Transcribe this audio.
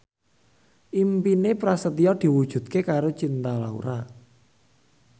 impine Prasetyo diwujudke karo Cinta Laura